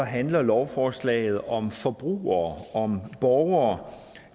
handler lovforslaget om forbrugere om borgere